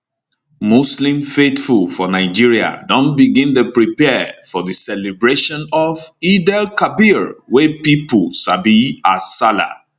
muslim faithful for nigeria don begin dey prepare for di celebration of eidelkabir wey pipo sabi as sallah